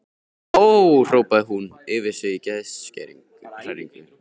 Ó, hrópaði hún upp yfir sig í geðshræringu.